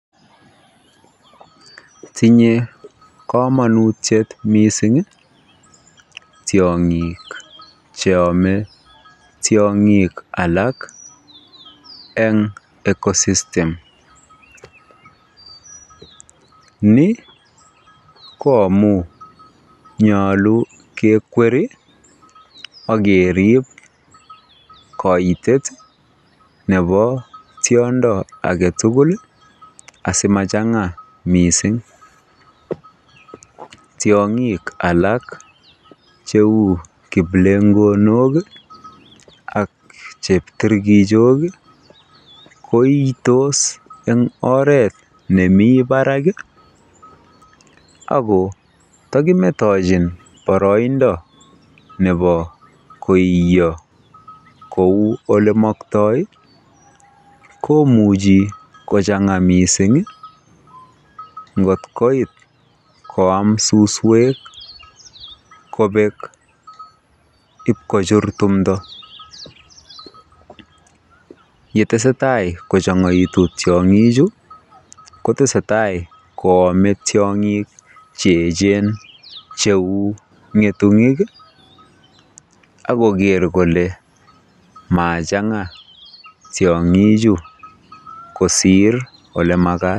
Tinye komonutiet mising tiongik cheome tiongik alak en ecosystem, nii ko amunnyolu kekwer ak kerib koitet nebo tiondo aketukul asimachanga mising, tiongik alak cheu kiplengonok ak chepkitirkichok ko iitos eng oreet nemii barak ak ko tokimetechi boroindo nebo koiyo kouu elemokto komuchi kochanga mising ngotkoit koam suswek kobek iib kochur timto, yetesetai kochangaitu tiongichu kotesetai ko omee tiongik che echen cheu ngetunyik ak koker kolee machanga tiongichu kosir olemakat.